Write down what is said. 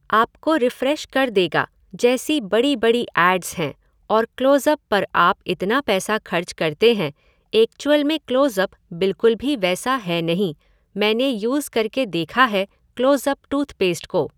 आपको रिफ़्रेश कर देगा' जैसी बड़ी बड़ी एैड्स हैं और क्लोज़ अप पर आप इतना पैसा खर्च करते हैं एक्चुअल में क्लोज़ अप बिल्कुल भी वैसा है नहीं, मैंने यूज़ करके देखा है क्लोज़ अप टूथपेस्ट को।